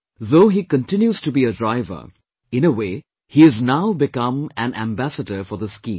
Though he continues to be a driver, in a way, he has now become an ambassador for this scheme